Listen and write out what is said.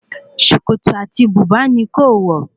Sòkòtò àti bùbá ni kó-o-wò